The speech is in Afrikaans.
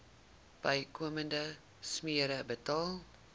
bykomende smere betaal